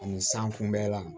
Ani san kunbɛn la